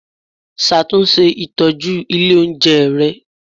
Ṣàtúnṣe ìtọ́jú ilé oúnjẹ rẹ